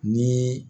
Ni